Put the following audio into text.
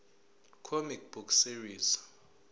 comic book series